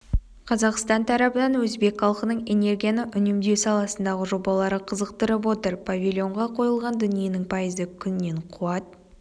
қазақстан тарабын өзбек халқының энергияны үнемдеу саласындағы жобалары қызықтырып отыр павильонға қойылған дүниенің пайызы күннен қуат